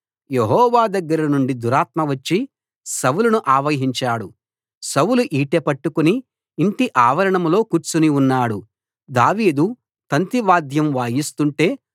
యెహోవా దగ్గర నుండి దురాత్మ వచ్చి సౌలును ఆవహించాడు సౌలు ఈటె పట్టుకుని యింటి ఆవరణంలో కూర్చుని ఉన్నాడు దావీదు తంతి వాద్యం వాయిస్తుంటే